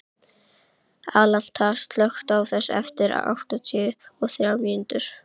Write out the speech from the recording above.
Alanta, slökktu á þessu eftir áttatíu og þrjár mínútur.